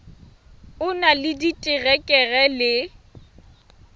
o na le diterekere le